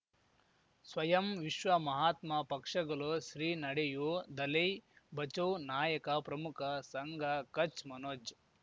ಸ್ವಯಂ ವಿಶ್ವ ಮಹಾತ್ಮ ಪಕ್ಷಗಲು ಶ್ರೀ ನಡೆಯೂ ದಲೈ ಬಚೌ ನಾಯಕ ಪ್ರಮುಖ ಸಂಘ ಕಚ್ ಮನೋಜ್